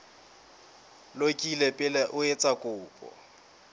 lokile pele o etsa kopo